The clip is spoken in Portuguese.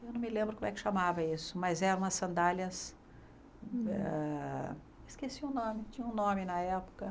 Eu não me lembro como é que chamava isso, mas eram as sandálias... Esqueci o nome, tinha um nome na época.